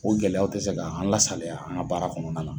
O gɛlɛyaw tɛ se ka an lasaliya an ga baara kɔnɔna la.